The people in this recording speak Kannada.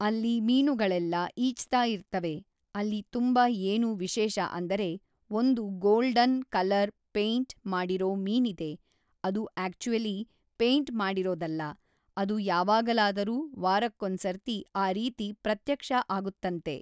ಅಲ್ಲಿ ಮೀನುಗಳೆಲ್ಲ ಈಜ್ತಾ ಇರ್ತವೆ ಅಲ್ಲಿ ತುಂಬ ಏನು ವಿಶೇಷ ಅಂದರೆ ಒಂದು ಗೋಲ್ಡನ್ ಕಲರ್ ಪೈಂಟ್ ಮಾಡಿರೋ ಮೀನಿದೆ ಅದು ಆ್ಯಕ್ಚುಲಿ ಪೈಂಟ್ ಮಾಡಿರೋದಲ್ಲ ಅದು ಯಾವಾಗಲಾದರೂ ವಾರಕ್ಕೊಂದ್ಸರ್ತಿ ಆ ರೀತಿ ಪ್ರತ್ಯಕ್ಷ ಆಗುತ್ತಂತೆ